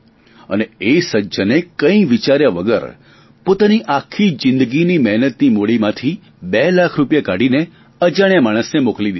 અને એ સજ્જને કઇ વિચાર્યા વગર પોતાની આખી જીંદગીની મહેનતની મૂડીમાંથી બે લાખ રૂપિયા કાઢીને અજાણ્યા માણસને મોકલી દિધા